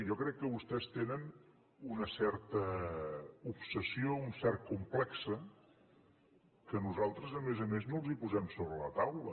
jo crec que vostès tenen una certa obsessió un cert complex que nosaltres a més a més no els posem sobre la taula